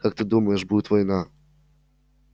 как ты думаешь будет война